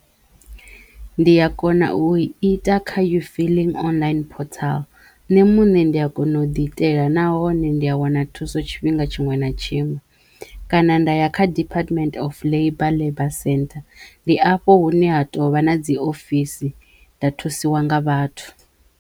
Ndi ya kona u i ita kha You Filing Online Portal nṋe muṋe ndi a kona u ḓi itela nahone ndi a wana thuso tshifhinga tshiṅwe na tshiṅwe kana nda ya kha Department Of Labour Labour Centre ndi afho hune ha tovha na dzi ofisi nda thusiwa nga vhathu.